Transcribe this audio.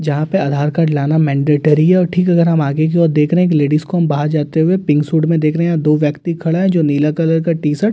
यहां पे आधार कार्ड लाना मैन्डेटरी है और ठीक अगर हम आगे की ओर देख रहे हैं एक लेडिज को बाहर जाते हुए पिंक सूट में देख रहे हैं दो व्यक्ति खड़ा हैं जो नीला कलर का टी शर्ट --